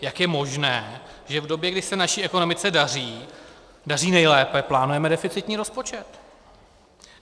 Jak je možné, že v době, kdy se naší ekonomice daří nejlépe, plánujeme deficitní rozpočet?